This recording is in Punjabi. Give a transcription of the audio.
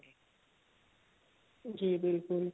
ਜੀ ਬਿਲਕੁਲ